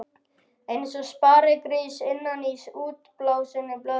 Eins og sparigrís innan í útblásinni blöðru.